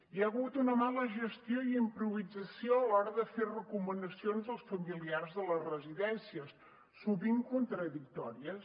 hi ha hagut una mala gestió i improvisació a l’hora de fer recomanacions als familiars de les residències sovint contradictòries